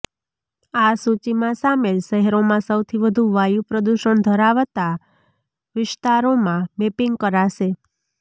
આ સૂચીમાં સામેલ શહેરોમાં સૌથી વધુ વાયુ પ્રદૂષણ ધરાવતા વિસ્તારોમાં મેપિંગ કરાશે